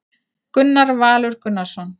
Gunnar Valur Gunnarsson